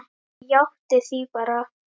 Ég játti því bara.